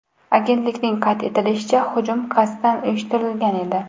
Agentlikning qayd etishicha, hujum qasddan uyushtirilgan edi.